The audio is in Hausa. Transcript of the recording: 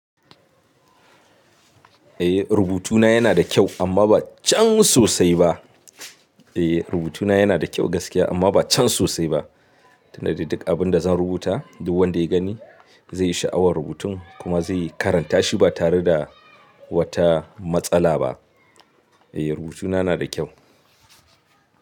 Eh rubutuna yana da kyau amma ba can sosai ba. Eh rubutuna yana da kyau gaskiya amma ba can sosai ba. Tunda dai duk abun da zan rubuta duk wanda ya gani zai yi sha'awar rubutun kuma zai karanta shi ba tare da wata matsala ba. Eh rubutuna na da kyau.